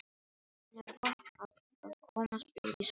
Hann hefur gott af að komast út í sólina.